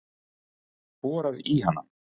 Borar í hana.